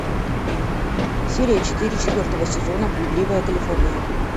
серия четыре четвертого сезона блудливая калифорния